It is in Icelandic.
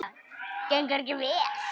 Þetta gengur mjög vel.